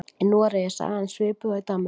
Í Noregi er sagan svipuð og í Danmörku.